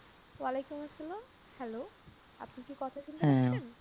ওয়া আলাইকুম আসসালাম hello আপনি কি কথা শুনতে পাচ্ছেন